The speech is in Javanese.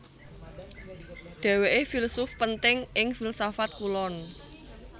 Dhèwèké filsuf penting ing filsafat Kulon